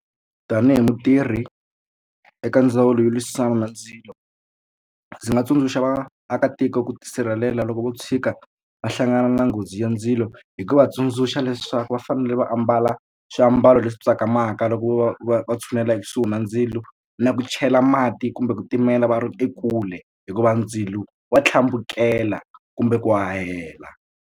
Tanihi mutirhi eka ndzawulo yo lwisana na ndzilo ndzi nga tsundzuxa vaakatiko ku tisirhelela loko vo tshika va hlangana na nghozi ya ndzilo hi ku va tsundzuxa leswaku va fanele ni va ambala swiambalo leswi tsakamaka loko vo va va va tshunela ekusuhi na ndzilo na ku chela mati kumbe ku timela va ri ekule hikuva ndzilo wa tlhambukela kumbe ku hahela.